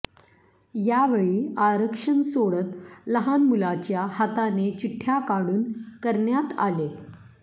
यावेळी आरक्षण सोडत लहान मुलाच्या हाताने चिठ्ठ्या काढून करण्यात आले